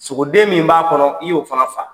Sogoden min b'a kɔnɔ i y'o fana faa.